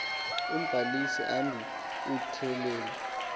umbalisi andi utyelele